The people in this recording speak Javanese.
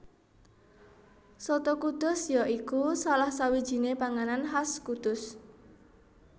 Soto Kudus ya iku salah sawijiné panganan khas Kudus